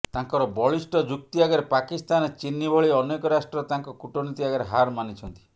ତାଙ୍କର ବଳିଷ୍ଠ ଯୁକ୍ତି ଆଗରେ ପାକିସ୍ତାନ ଚିନି ଭଳି ଅନେକ ରାଷ୍ଟ୍ର ତାଙ୍କ କୂଟନୀତି ଆଗରେ ହାର ମାନିଛନ୍ତି